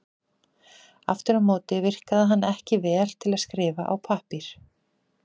Aftur á móti virkaði hann ekki vel til að skrifa á pappír.